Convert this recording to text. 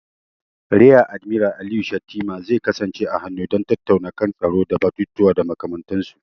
Riya Admiral Aliyu Shettima zai kasance a hannu don tattaunawa kan tsaro da batutuwa da makamantansu.